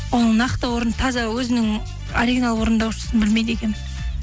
оның нақты орын таза өзінің оригинал орындаушысын білмейді екенмін